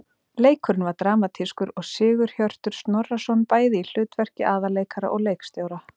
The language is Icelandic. Leikurinn var dramatískur og Sigurhjörtur Snorrason bæði í hlutverki aðalleikara og leikstjóra.